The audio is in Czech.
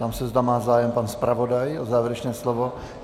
Ptám se, zda má zájem pan zpravodaj o závěrečné slovo.